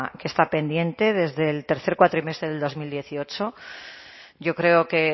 que está pendiente desde el tercer cuatrimestre del dos mil dieciocho yo creo que